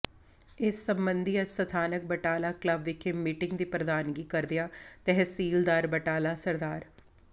ਇਸ ਸਬੰਧੀ ਅੱਜ ਸਥਾਨਕ ਬਟਾਲਾ ਕਲੱਬ ਵਿਖੇ ਮੀਟਿੰਗ ਦੀ ਪ੍ਰਧਾਨਗੀ ਕਰਦਿਆਂ ਤਹਿਸੀਲਦਾਰ ਬਟਾਲਾ ਸ